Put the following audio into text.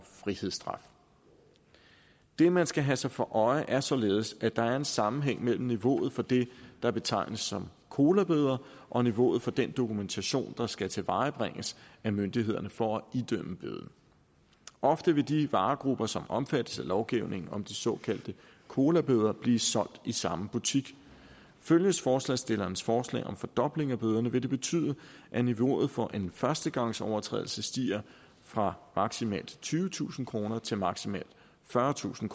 frihedsstraf det man skal have sig for øje er således at der er en sammenhæng mellem niveauet for det der betegnes som colabøder og niveauet for den dokumentation der skal tilvejebringes af myndighederne for at idømme bøden ofte vil de varegrupper som omfattes af lovgivningen om de såkaldte colabøder blive solgt i samme butik følges forslagsstillernes forslag om en fordobling af bøderne vil det betyde at niveauet for en førstegangsovertrædelse stiger fra maksimalt tyvetusind kroner til maksimalt fyrretusind